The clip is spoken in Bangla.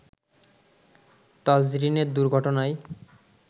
তাজরীনের দুর্ঘটনায়